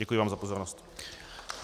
Děkuji vám za pozornost.